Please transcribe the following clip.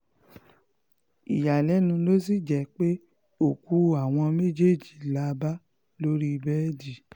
ìyàlẹ́nu ló sì jẹ́ pé òkú àwọn méjèèjì la bá lórí bẹ́ẹ̀dì